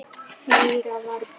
Heyra varla.